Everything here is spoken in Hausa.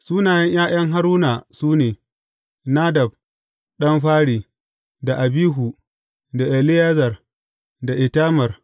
Sunayen ’ya’yan Haruna su ne, Nadab ɗan fari, da Abihu, da Eleyazar da Itamar.